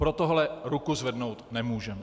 Pro tohle ruku zvednout nemůžeme.